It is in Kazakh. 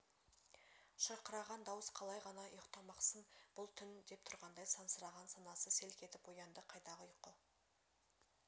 шырқыраған дауыс қалай ғана ұйықтамақсың бұл түн деп тұрғандай сансыраған санасы селк етіп оянды қайдағы ұйқы